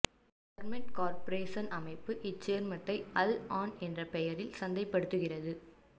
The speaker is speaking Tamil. சர்மெட் கார்பரேசன் அமைப்பு இச்சேர்மத்தை அல் ஆன் என்ற பெயரில் சந்தைப்படுத்துகிறது